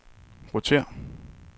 rotér